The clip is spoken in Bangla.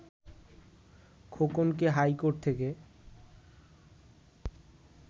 খোকনকে হাইকোর্ট থেকে